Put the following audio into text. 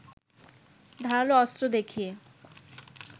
ধারালো অস্ত্র দেখিয়ে